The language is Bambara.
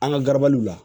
An ka garabaliw la